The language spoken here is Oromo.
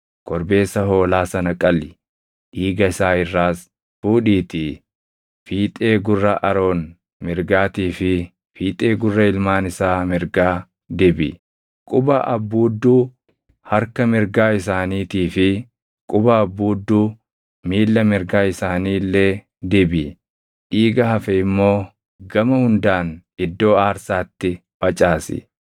Korbeessa hoolaa sana qali; dhiiga isaa irraas fuudhiitii fiixee gurra Aroon mirgaatii fi fiixee gurra ilmaan isaa mirgaa dibi; quba abbuudduu harka mirgaa isaaniitii fi quba abbuudduu miilla mirgaa isaanii illee dibi. Dhiiga hafe immoo gama hundaan iddoo aarsaatti facaasi.